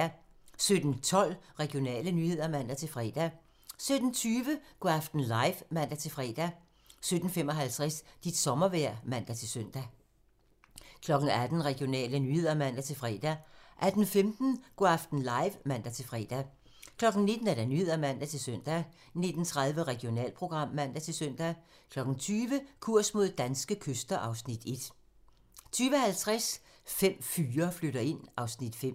17:12: Regionale nyheder (man-fre) 17:20: Go' aften live (man-fre) 17:55: Dit sommervejr (man-søn) 18:00: Nyhederne (man-søn) 18:10: Regionale nyheder (man-fre) 18:15: Go' aften live (man-fre) 19:00: Nyhederne (man-søn) 19:30: Regionalprogram (man-søn) 20:00: Kurs mod danske kyster (Afs. 1) 20:50: Fem fyre flytter ind (Afs. 5)